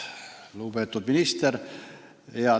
Lugupeetud minister!